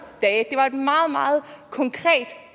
dage det var et meget meget konkret